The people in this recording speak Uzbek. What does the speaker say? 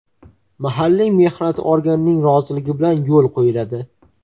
mahalliy mehnat organining roziligi bilan yo‘l qo‘yiladi.